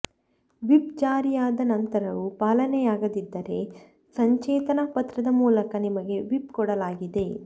whip ಜಾರಿಯಾದ ನಂತರವೂ ಪಾಲನೆಯಾಗದಿದ್ದರೆ ಸಚೇತನಾ ಪತ್ರದ ಮೂಲಕ ನಿಮಗೆ ವಿಪ್ ಕೊಡಲಾಗಿದೆ